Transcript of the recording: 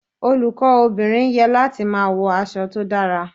Olùkọ́ obìnrin ye láti máa wọ aṣọ tó dára.